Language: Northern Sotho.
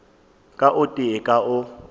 ka o tee ka o